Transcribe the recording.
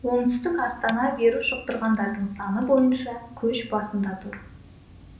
оңтүстік астана вирус жұқтырғандардың саны бойынша көш басында тұр